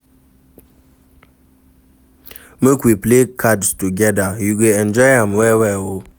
Make we play cards togeda, you go enjoy am well-well o.